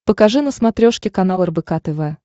покажи на смотрешке канал рбк тв